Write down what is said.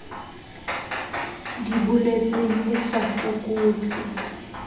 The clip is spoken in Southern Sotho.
di boletseng e sa fokotse